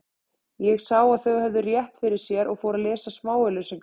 Ég sá að þau höfðu rétt fyrir sér og fór að lesa smáauglýsingarnar.